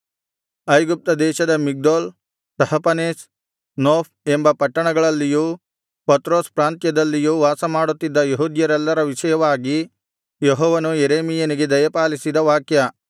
ಐಗುಪ್ತ ದೇಶದ Migdol Tahpanhes Noph ಎಂಬ ಪಟ್ಟಣಗಳಲ್ಲಿಯೂ ಪತ್ರೋಸ್ ಪ್ರಾಂತ್ಯದಲ್ಲಿಯೂ ವಾಸಮಾಡುತ್ತಿದ್ದ ಯೆಹೂದ್ಯರೆಲ್ಲರ ವಿಷಯವಾಗಿ ಯೆಹೋವನು ಯೆರೆಮೀಯನಿಗೆ ದಯಪಾಲಿಸಿದ ವಾಕ್ಯ